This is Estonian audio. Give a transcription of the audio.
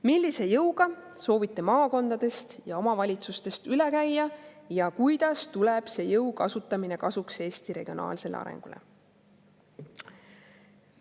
Millise jõuga soovite maakondadest ja omavalitsustest üle käia ja kuidas tuleb see jõu kasutamine kasuks Eesti regionaalsele arengule?